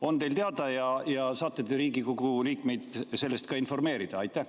On teil teada ja saate te Riigikogu liikmeid sellest ka informeerida?